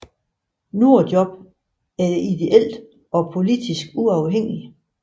Nordjobb er ideelt og politisk uafhængigt